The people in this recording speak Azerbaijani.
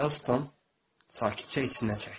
Herston sakitcə içinə çəkdi.